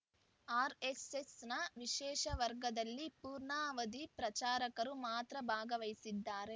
RS S ನ ವಿಶೇಷ ವರ್ಗದಲ್ಲಿ ಪೂರ್ಣಾವಧಿ ಪ್ರಚಾರಕರು ಮಾತ್ರ ಭಾಗವಹಿಸುತ್ತಿದ್ದಾರೆ